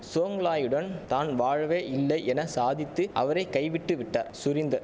சோங்லாயுடன் தான் வாழவே இல்லை என சாதித்து அவரை கைவிட்டு விட்டார் சுரீந்தர்